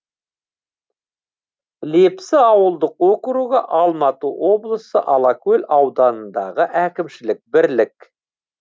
лепсі ауылдық округі алматы облысы алакөл ауданындағы әкімшілік бірлік